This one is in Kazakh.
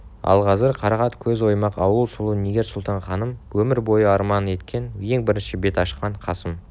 ал қазір қарақат көз оймақ ауыз сұлу нигер-сұлтан ханым өмір бойы арман еткен ең бірінші бетін ашқан қасым